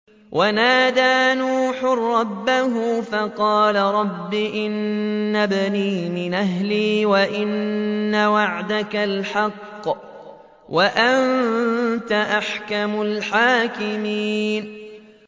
وَنَادَىٰ نُوحٌ رَّبَّهُ فَقَالَ رَبِّ إِنَّ ابْنِي مِنْ أَهْلِي وَإِنَّ وَعْدَكَ الْحَقُّ وَأَنتَ أَحْكَمُ الْحَاكِمِينَ